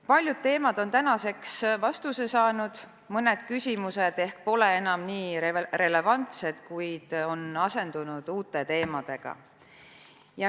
Paljude teemadega seoses on tänaseks vastused saadud ja mõned küsimused ehk polegi enam nii relevantsed, kuid on asendunud uutega.